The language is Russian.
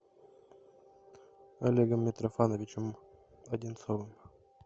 олегом митрофановичем одинцовым